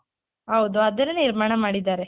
ಹೌದು ಅದನ್ನೇ ನಿರ್ಮಾಣ ಮಾಡಿದಾರೆ.